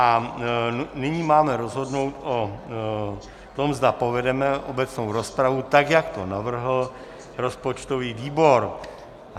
A nyní máme rozhodnout o tom, zda povedeme obecnou rozpravu, tak jak to navrhl rozpočtový výbor.